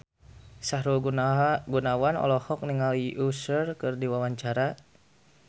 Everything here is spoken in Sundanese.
Sahrul Gunawan olohok ningali Usher keur diwawancara